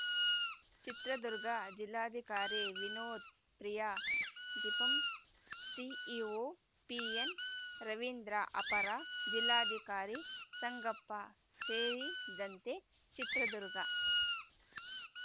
ಚಿತ್ರದುರ್ಗ ಜಿಲ್ಲಾಧಿಕಾರಿ ವಿನೋತ್‌ ಪ್ರಿಯಾ ಜಿಪಂ CEO PN Ravindra ಅಪರ ಜಿಲ್ಲಾಧಿಕಾರಿ ಸಂಗಪ್ಪ ಸೇರಿದಂತೆ ಚಿತ್ರದುರ್ಗ